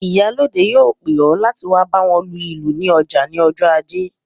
Ìyálóde yóò pè ọ láti wá báwo lu ìlù ní ọjà ní ọjọ ajé